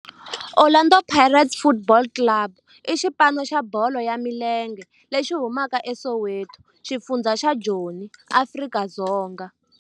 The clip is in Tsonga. Orlando Pirates Football Club i xipano xa bolo ya milenge lexi humaka eSoweto, xifundzha xa Joni, Afrika-Dzonga.